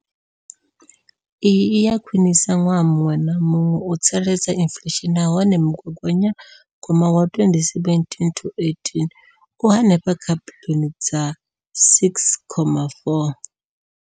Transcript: Iyi i a khwiniswa ṅwaha muṅwe na muṅwe u tsireledza inflesheni nahone mugaganya gwama wa 2017 na 2018 u henefha kha biḽioni dza R6.4.